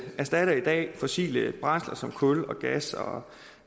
erstatter i dag fossile brændsler som kul og gas og